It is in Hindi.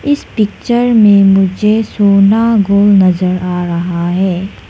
इस पिक्चर में मुझे सोना नजर आ रहा है।